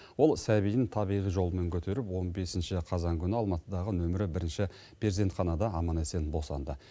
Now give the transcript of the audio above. ол сәбиін табиғи жолмен көтеріп он бесінші қазан күні алматыдағы нөмірі бірінші перзентханада аман есен босанды